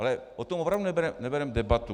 Ale o tom opravdu nevedeme debatu.